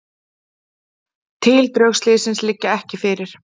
Tildrög slyssins liggja ekki fyrir.